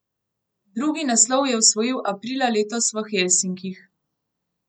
Drugi naslov je osvojil aprila letos v Helsinkih.